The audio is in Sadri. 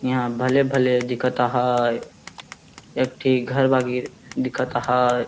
यहाँ भले -भले दिखत अहाय एकठी घर दिखत अहाय।